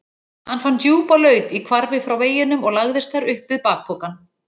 Hann fann djúpa laut í hvarfi frá veginum og lagðist þar upp við bakpokann.